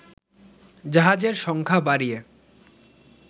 জাহাজের সংখ্যা বাড়িয়ে